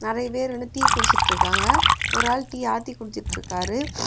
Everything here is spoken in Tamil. நெரைபேரு வந்து டீ குடிச்சிட்டுருக்காங்க ஒரு ஆள் டி ஆத்தி குடிச்சிட்டுருக்காரு.